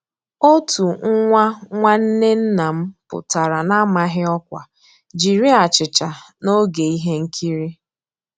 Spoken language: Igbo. Ótú nwá nnwànné nná m pụ́tárá n'àmàghị́ ọ́kwá jiri àchíchà n'ògé íhé nkírí.